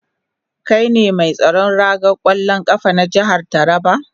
Kai ne mai tsaron ragar kwallon kafa na jihar Taraba?